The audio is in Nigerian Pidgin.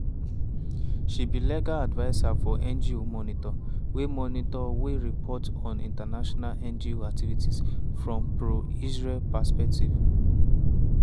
she be legal adviser for ngo monitor wey monitor wey report on international ngo activity from pro-israel perspective.